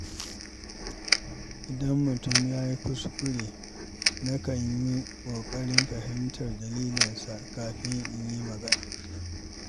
Idan mutum ya yi kuskure, nakan yi ƙoƙarin fahimtar dalilinsa kafin in yi magana.